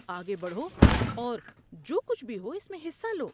آگے بڑھو اور جو کچھ بھی ہو اس میں حصہ لو۔